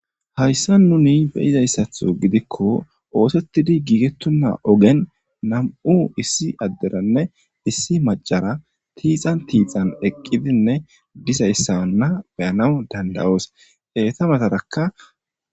hayssa nuni beyizayssatho gidikko oosetidi giigettunna ogen nam7u issi adderanne issi macara tiixan tiixan eqqidinne dizayssaanna beyanaw dandawoos heeta matarakka